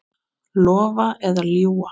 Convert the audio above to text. Lofa eða ljúga?